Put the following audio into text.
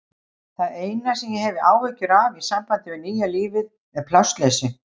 Það eina sem ég hef áhyggjur af í sambandi við nýja lífið er plássleysi.